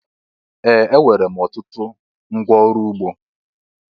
Ee! Enwere m ọtụtụ ngwa ọrụ ugbo.